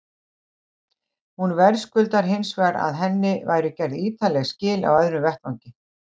Hún verðskuldar hins vegar að henni væru gerð ítarleg skil á öðrum vettvangi.